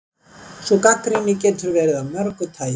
Sú gagnrýni getur verið af mörgu tagi.